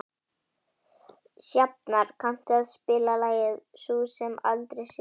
Sjafnar, kanntu að spila lagið „Sú sem aldrei sefur“?